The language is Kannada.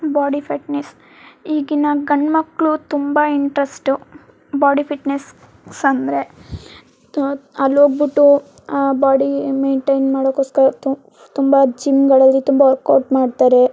ಬಾಡಿ ಫಿಟ್ನೆಸ್ ಈಗಿನ ಗಂಡ್ಮಕ್ಕಳು ತುಂಬಾ ಇಂಟ್ರೆಸ್ಟ್ ಬಾಡಿ ಫಿಟ್ನೆಸ್ ಅಂದ್ರೆ ಆಹ್ ಅಲ್ ಹೋಗ್ಬಿಟ್ಟು ಆಹ್ ಬಾಡಿ ಮೈಂಟೈನ್ ಮಾಡೋಕೋಸ್ಕರ ತು ತುಂಬಾ ಜಿಮ್ಗಳಲ್ಲಿ ತುಂಬಾ ವರ್ಕೌಟ್ ಮಾಡ್ತಾರೆ.